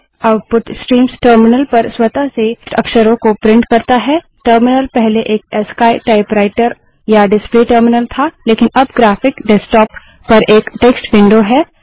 output streams terminal पर स्वतः से टेक्स्ट अक्षरों को प्रिंट करता है टर्मिनल पहले एक अस्की टाइपराइटर या डिसप्ले टर्मिनल था लेकिन अब ग्राफिक डेस्क्टाप पर एक टेक्स्ट विंडो है